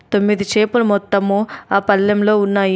తొమ్మిది చేపలు మొత్తము ఆ పళ్ళెంలో ఉన్నాయి.